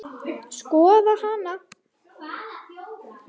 Skoða hana?